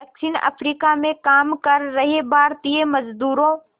दक्षिण अफ्रीका में काम कर रहे भारतीय मज़दूरों